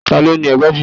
Ta ló ni ẹgbàajì yìí?